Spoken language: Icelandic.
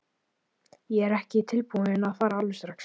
Ég er ekki tilbúinn að fara alveg strax.